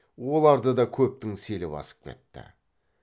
оларды да көптің селі басып кетті